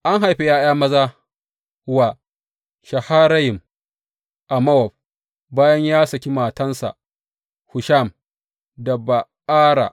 An haifa ’ya’ya maza wa Shaharayim a Mowab bayan ya saki matansa Hushim da Ba’ara.